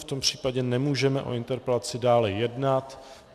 V tom případě nemůžeme o interpelaci dále jednat.